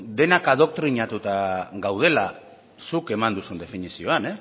denak doktrinatuak gaudela zuk eman duzun definizioan